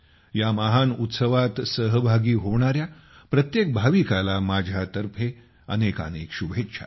या महान उत्सवात सहभागी होणाऱ्या प्रत्येक भाविकाला माझ्यातर्फे अनेकानेक शुभेच्छा